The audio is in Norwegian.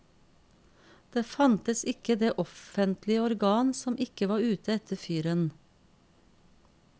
Det fantes ikke det offentlige organ som ikke var ute etter fyren.